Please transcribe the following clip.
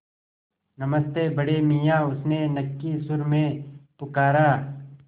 नमस्ते बड़े मियाँ उसने नक्की सुर में पुकारा